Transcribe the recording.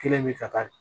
Kelen bi ta